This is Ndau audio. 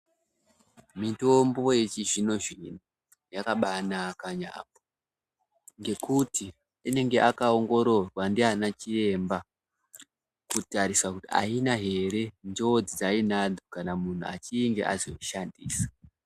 Mitombo yechizvino-zvino, yakabaanaka yaampho, ngekuti inenge yakaongororwa ndianachiremba, kutarisa kuti aina here njodzi dzaiinadzo, kana munhu achinge azoishandisa.